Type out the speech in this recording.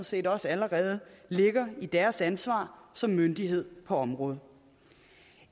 set også allerede ligger i deres ansvar som myndighed på området